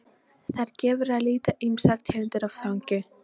Þar gefur að líta ýmsar tegundir af þangi.